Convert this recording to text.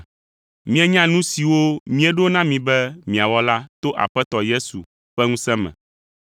Mienya nu siwo míeɖo na mi be miawɔ la to Aƒetɔ Yesu ƒe ŋusẽ me.